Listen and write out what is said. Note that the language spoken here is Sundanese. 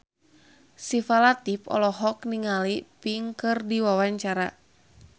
Syifa Latief olohok ningali Pink keur diwawancara